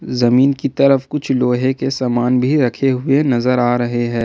जमीन की तरफ कुछ लोहे की सामान भी रखे हुए नजर आ रहे हैं।